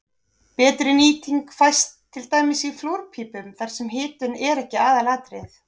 betri nýting fæst til dæmis í flúrpípum þar sem hitun er ekki aðalatriðið